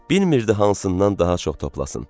Bilmirdi hansından daha çox toplasın.